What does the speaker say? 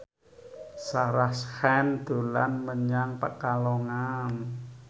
Sarah Sechan dolan menyang Pekalongan